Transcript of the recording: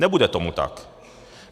Nebude tomu tak.